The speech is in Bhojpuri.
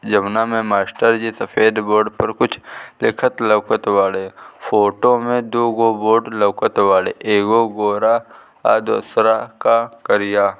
जौना में मास्टर जी सफ़ेद बोर्ड पे कुछ लिखत लउकत बाड़े फोटो में दुगो बोर्ड लउकत बाड़े एगो गोरा और दुसरका करिया--